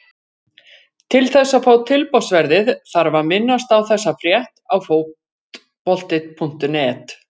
Til þess að fá tilboðsverðið þarf að minnast á þessa frétt á Fótbolti.net.